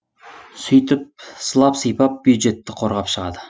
сөйтіп сылап сыйпап бюджетті қорғап шығады